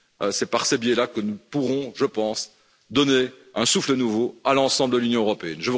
C'est par ce biais là que nous pourrons, je pense, donner un souffle nouveau à l'ensemble de l'Union européenne.